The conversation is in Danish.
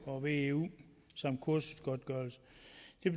og veu samt kursusgodtgørelse